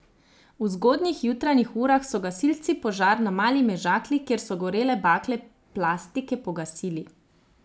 V zgodnjih jutranjih urah so gasilci požar na Mali Mežakli, kjer so gorele bale plastike, pogasili.